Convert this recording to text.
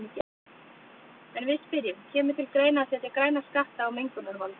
En við spyrjum, kemur til greina að setja græna skatta á mengunarvalda?